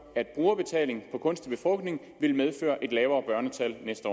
at brugerbetaling for kunstig befrugtning vil medføre et lavere børnetal næste